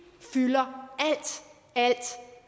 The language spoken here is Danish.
fylder alt